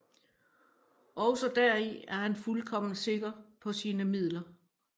Ogsaa deri er han fuldkommen sikker paa sine Midler